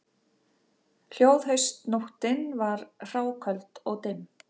Hljóð haustnóttin var hráköld og dimm